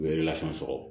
U ye sɔrɔ